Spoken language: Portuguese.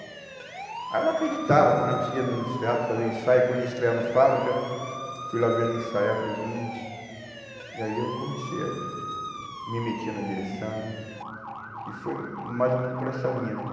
Aí eu não acreditava, quando a gente ia nos no teatro fazer o ensaio, quando ia estrear no Fábrica, fui lá ver o ensaio, falei, gente... E aí eu comecei a me meter na direção e foi mais ou menos por essa linha, né?